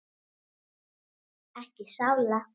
Ekki sála.